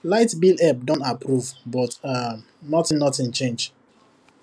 light bill help don approve but um nothing nothing change